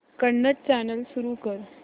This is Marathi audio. कन्नड चॅनल सुरू कर